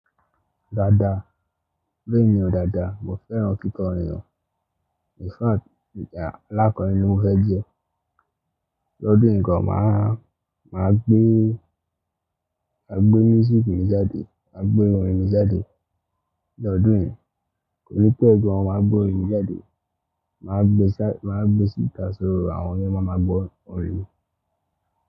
Dada, mí ní ọ̀ Dada. Mo fẹ́ràn kíkọ́ orin o. Infact aláàkọ́rin ni mo fẹ́ jẹ́. L'ọ́dún yìí gan, màá, màá gbé, màá gbé music mi jáde, màá gbé orin mi jáde. L'ọ́dún yìí kò ní pẹ́ gan, má gbé orin mi jáde. Màá gbé ṣá, màá gbé sí ìta, So, àwọn ènìyàn máma gbọ́ orin mi.